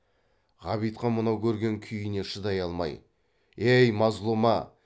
ғабитхан мынау көрген күйіне шыдай алмай ей мазлұма